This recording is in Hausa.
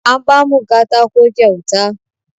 An ba mu katako kyauta.